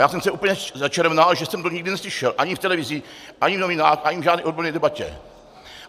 Já jsem se úplně začervenal, že jsem to nikdy neslyšel, ani v televizi, ani v novinách, ani v žádné odborné debatě.